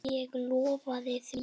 Ég lofaði því.